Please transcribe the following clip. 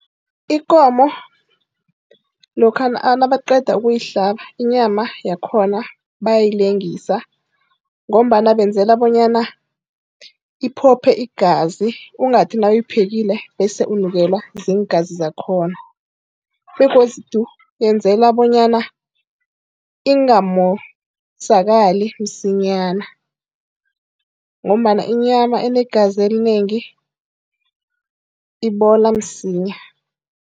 Ikomo lokha nabaqeda ukuyihlaba, inyama yakhona bayayilengisa ngombana benzela bonyana iphophe igazi, ungathi nawuyiphekile bese unukelwa ziingazi zakhona, begodu benzela bonyana ingamosakali msinyana ngombana inyama enegazi elinengi ibola msinya.